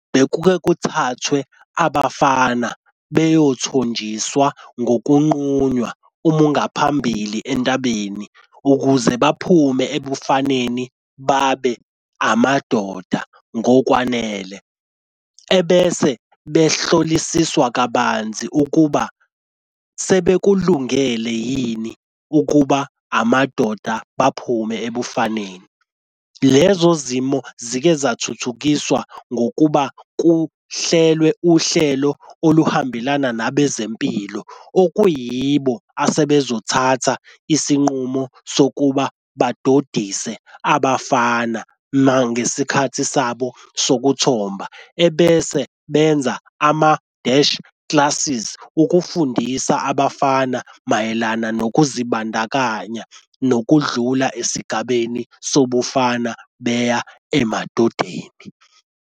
Bekuke kuthathwe abafana beyothonjiswa ngokunqunywa umungaphambili entabeni ukuze baphume ebufaneni babe amadoda ngokwanele. Ebese behlolisiswa kabanzi ukuba sebekulungele yini ukuba amadoda baphume ebufaneni. Lezo zimo zike zathuthukiswa ngokuba kuhlelwe uhlelo oluhambelana nabezempilo okuyibo asebezothatha isinqumo sokuba badodise abafana. Nangesikhathi sabo sokuthomba ebese benza ama-dash classes ukufundisa abafana mayelana nokuzibandakanya nokudlula esigabeni sobufana beya emadodeni.